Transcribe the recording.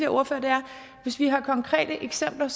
ordfører er at hvis vi har konkrete eksempler